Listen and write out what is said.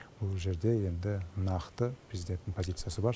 бұл жерде енді нақты президенттің позициясы бар